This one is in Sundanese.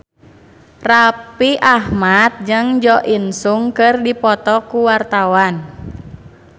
Raffi Ahmad jeung Jo In Sung keur dipoto ku wartawan